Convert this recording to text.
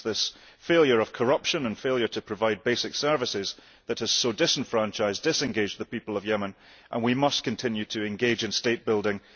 It is this failure of corruption and failure to provide basic services that has so disenfranchised and disengaged the people of Yemen and we must continue to engage in state building.